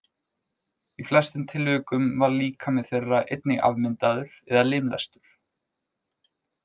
Í flestum tilvikum var líkami þeirra einnig afmyndaður eða limlestur.